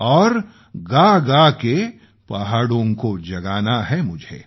और गागा के पहाड़ों को जगाना है मुझे